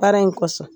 Baara in kɔsɔn